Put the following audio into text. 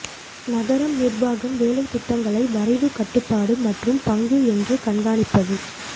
நகரம் நிர்வாகம் வேலை திட்டங்களை வரைவு கட்டுப்பாடு மற்றும் பங்கு என்று கண்காணிப்பது